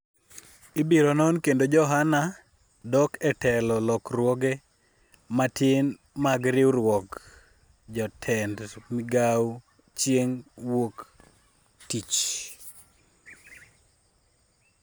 ibiro non kendo Johana dok e telo lokruoge matin mag riwruog jotend migawo chieng' wuok tich